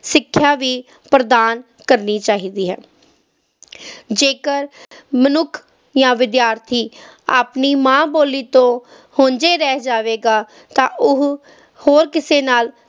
ਸਿੱਖਿਆ ਵੀ ਪ੍ਰਦਾਨ ਕਰਨੀ ਚਾਹੀਦੀ ਹੈ ਜੇਕਰ ਮਨੁੱਖ ਜਾਂ ਵਿਦਿਆਰਥੀ ਆਪਣੀ ਮਾਂ ਬੋਲੀ ਤੋਂ ਹੁੰਝੇ ਰਹਿ ਜਾਵੇਗਾ, ਤਾਂ ਉਹ ਹੋਰ ਕਿਸੇ ਨਾਲ